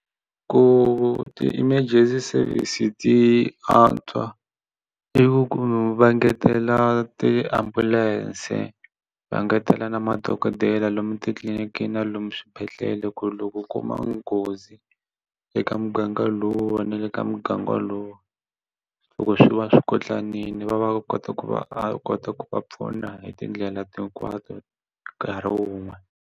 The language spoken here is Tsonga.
Ku ti-emergency service ti antswa i ku va ngetela tiambulense va ngetela na madokodela lomu titliliniki na lomu swibedhlele loko u kuma nghozi eka muganga lowu va na le ka muganga lowu loko swi va swi koti tsanile va va kota ku va a kota ku va pfuna hi tindlela hinkwato nkarhi wun'we.